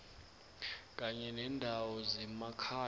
kanye nendawo zemakhaya